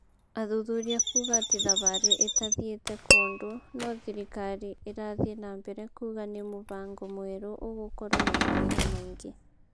Athuthuria kuga ati thabarĩ ĩtathiĩte kũndũ no thirikari ĩratii nambere kuga ni mũfango mwerũ ũgũkorwo na mawega maingĩ